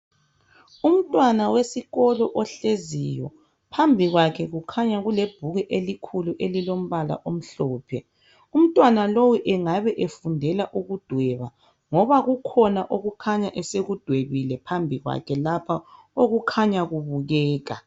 umntwana wesikolo ohleziyo phambi kwakhe kukhanya kulebhuku elikhulu elilombala omhlophe umntwana lowu engabe efundela ukudweba ngoba kukhona okukhanya esekudwebile phambi kwakhe lapha okukhanya kubukeka